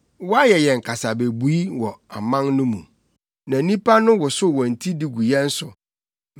Woayɛ yɛn kasabebui wɔ aman no mu na nnipa no wosow wɔn ti de gu yɛn so.